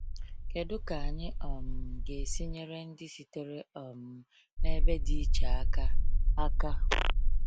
Kedu ka anyị um ga-esi nyere ndị sitere um n’ebe dị iche aka? aka?